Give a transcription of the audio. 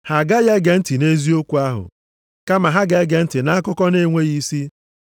Ha agaghị ege ntị nʼeziokwu ahụ, kama ha ga-ege ntị nʼakụkọ na-enweghị isi.